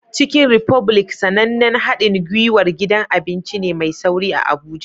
Chicken republic, sanannen haɗin gwiwar gidan abinci ne mai sauri a Abuja